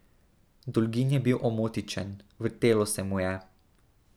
Dolgin je bil omotičen, vrtelo se mu je.